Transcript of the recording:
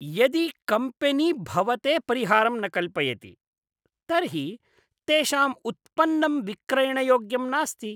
यदि कम्पेनी भवते परिहारं न कल्पयति, तर्हि तेषाम् उत्पन्नं विक्रयणयोग्यं नास्ति।